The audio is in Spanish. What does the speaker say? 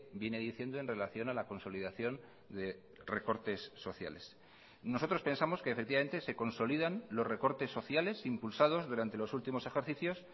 viene diciendo en relación a la consolidación de recortes sociales nosotros pensamos que efectivamente se consolidan los recortes sociales impulsados durante los últimos ejercicios